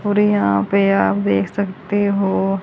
और यहां पे आप देख सकते हो।